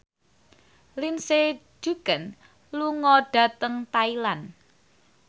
Lindsay Ducan lunga dhateng Thailand